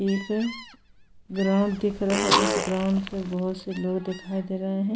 एक ग्राउंड दिख रहा है उस ग्राउंड पे बहुत से लोग दिखाई दे रहे हैं।